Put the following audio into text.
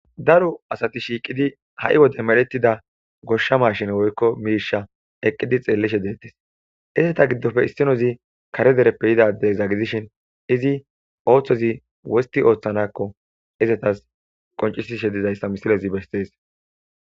Daro asati shiiqidi ha7i wode medhettida goshsha ma shin woykko miirsha eqqidi xeellishe deettes izeta giddofe issinozi kare dereppe yidadezagidishin izi ooththozi wosti ooththanakko izetas qoncisishe dizayssa misilezi bestees.